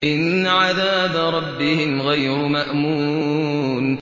إِنَّ عَذَابَ رَبِّهِمْ غَيْرُ مَأْمُونٍ